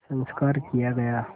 संस्कार किया गया